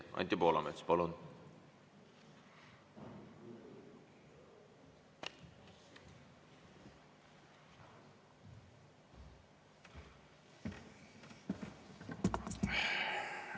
Anti Poolamets, palun!